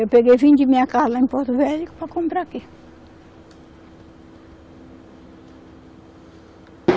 Eu peguei vendi minha casa lá em Porto Velho para comprar aqui.